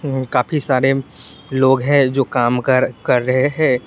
काफी सारे लोग हैं जो काम कर कर रहे हैं।